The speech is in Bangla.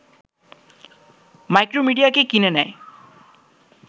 ম্যাক্রোমিডিয়াকে কিনে নেয়